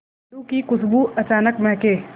लड्डू की खुशबू अचानक महके